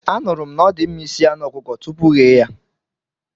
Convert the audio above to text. Anụrụ m na ọdịmma isi anụ ọkụkọ tupu ghee ya.